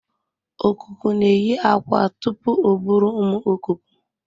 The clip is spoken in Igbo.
Okuko na eyi akwa tupu o buru ụmụ okuku.